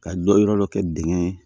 Ka dɔ yɔrɔ dɔ kɛ dingɛ ye